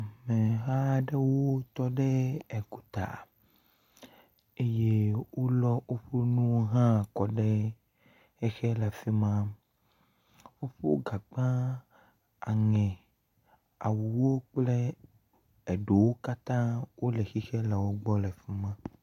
Amehaa ɖewo tɔ ɖe egota eye wolɔ woƒo nuwo hã kɔ ɖe xexe le fi ma. Woƒo gagbã, aŋɛ, awuwo kple eɖowo katã wole xexe le wogbɔ le fi ma.